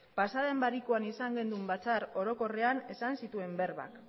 pasa den barikuan izan genuen batzar orokorrean esan zituen berbak